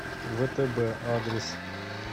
втб адрес